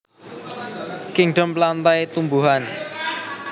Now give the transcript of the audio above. Kingdom Plantae Tumbuhan